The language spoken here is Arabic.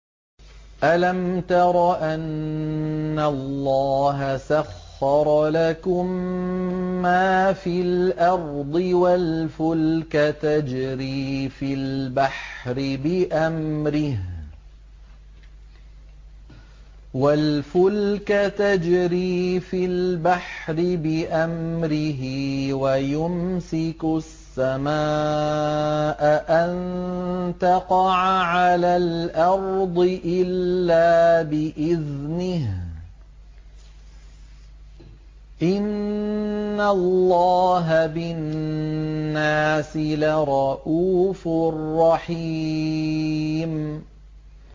أَلَمْ تَرَ أَنَّ اللَّهَ سَخَّرَ لَكُم مَّا فِي الْأَرْضِ وَالْفُلْكَ تَجْرِي فِي الْبَحْرِ بِأَمْرِهِ وَيُمْسِكُ السَّمَاءَ أَن تَقَعَ عَلَى الْأَرْضِ إِلَّا بِإِذْنِهِ ۗ إِنَّ اللَّهَ بِالنَّاسِ لَرَءُوفٌ رَّحِيمٌ